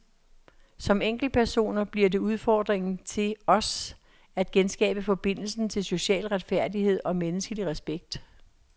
Som enkeltpersoner bliver det udfordringen til os at genskabe forbindelsen til social retfærdighed og menneskelig respekt.